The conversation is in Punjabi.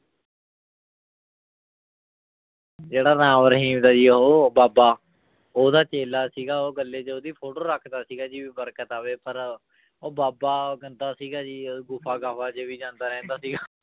ਜਿਹੜਾ ਰਾਮ ਰਹੀਮ ਦਾ ਉਹ ਬਾਬਾ ਉਹਦਾ ਚੇਲਾ ਸੀਗਾ ਉਹ ਗੱਲੇ ਚ ਉਹਦੀ photo ਰੱਖਦਾ ਸੀਗਾ ਜੀ ਵੀ ਬਰਕਤ ਆਵੇ, ਪਰ ਉਹ ਬਾਬਾ ਗੰਦਾ ਸੀਗਾ ਜੀ ਉਹ ਗੁਫ਼ਾ ਗਾਫ਼ਾ ਚ ਵੀ ਜਾਂਦਾ ਰਹਿੰਦਾ ਸੀਗਾ